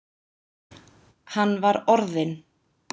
Hann var orðinn.